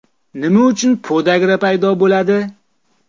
Nima uchun podagra paydo bo‘ladi?